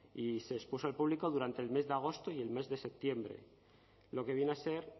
y se expuso al público durante el mes de agosto y el mes de septiembre lo que viene a ser